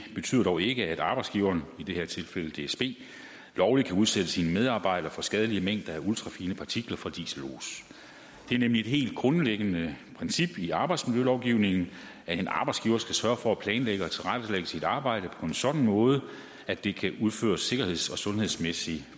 betyder dog ikke at arbejdsgiveren i det her tilfælde dsb lovligt kan udsætte sine medarbejdere for skadelige mængder af ultrafine partikler fra dieselos det er nemlig et helt grundlæggende princip i arbejdsmiljølovgivningen at en arbejdsgiver skal sørge for at planlægge og tilrettelægge sit arbejde på en sådan måde at det kan udføres sikkerheds og sundhedsmæssigt